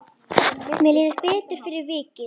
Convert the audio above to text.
Mér líður betur fyrir vikið.